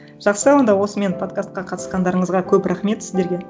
жақсы онда осымен подкастқа қатысқандарыңызға көп рахмет сіздерге